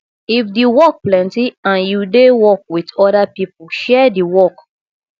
if di work plenty and you dey work with oda pipo share di work